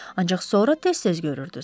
Ancaq sonra tez-tez görürdünüz.